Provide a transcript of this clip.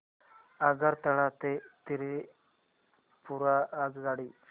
आगरतळा ते त्रिपुरा आगगाडी